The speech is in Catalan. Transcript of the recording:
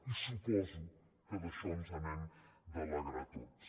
i suposo que d’això ens n’hem d’alegrar tots